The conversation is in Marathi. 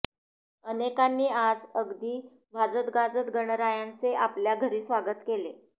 अनेकांनी आज अगदी वाजत गाजत गणरायांचे आपल्या घरी स्वागत केले